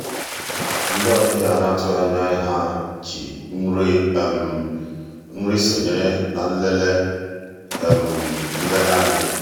ndị́ ọ̀bịá á ná-àtụ́ghị́ ànyá yá jì nrí nri sonyéé ná nlélè nlélè ànyị́.